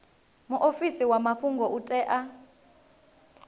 muofisi wa mafhungo u tea